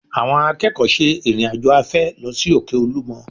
Àwọn akẹ́kọ̀ọ́ ṣe ìrìn-àjò afẹ́ lọ sí òkè Olúmọ